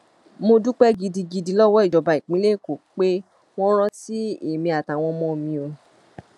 mo dúpẹ gidigidi lọwọ ìjọba ìpínlẹ èkó pé wọn rántí èmi àtàwọn ọmọ mi o